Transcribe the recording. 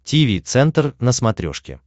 тиви центр на смотрешке